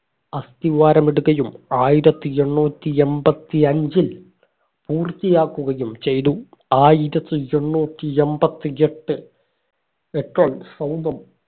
അസ്ഥിവാരമിടുകയും ആയിരത്തി എണ്ണൂറ്റി എമ്പതി അഞ്ചിൽ പൂർത്തിയാക്കുകയും ചെയ്തു ആയിരത്തി എണ്ണൂറ്റി എമ്പതി എട്ട് എട്ടിൽ സൗധം